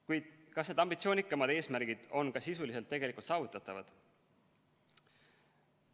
Kuid kas need ambitsioonikamad eesmärgid on ka sisuliselt tegelikult saavutatavad?